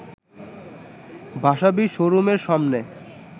ভাসাবী শোরুমের সামনে